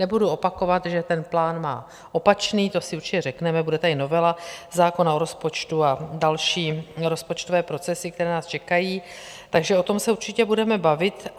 Nebudu opakovat, že ten plán má opačný, to si určitě řekneme, bude tady novela zákona o rozpočtu a další rozpočtové procesy, které nás čekají, takže o tom se určitě budeme bavit.